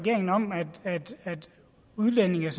udligne lidt